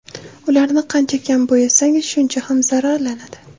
Ularni qancha kam bo‘yasangiz, shuncha kam zararlanadi.